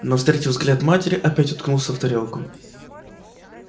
но встретив взгляд матери опять уткнулся в тарелку